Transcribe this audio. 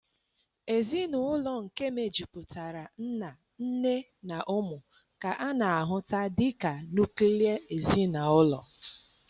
Ezinụlọ nke mejupụtara nna, nne na ụmụ ka a na-ahuta dị ka nuklia ezinụlọ